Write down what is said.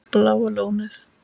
Bláa Lónið